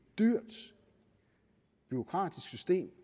dyrt bureaukratisk system